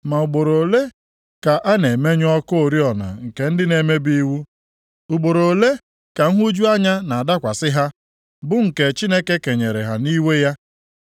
“Ma ugboro ole ka a na-emenyụ ọkụ oriọna nke ndị na-emebi iwu? Ugboro ole ka nhụju anya na-adakwasị ha, bụ nke Chineke kenyere ha nʼiwe ya?